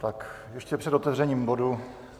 Tak ještě před otevřením bodu.